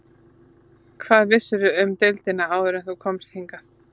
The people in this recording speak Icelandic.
Hvað vissirðu um deildina áður en þú komst hingað?